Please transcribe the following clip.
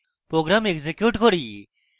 program execute করি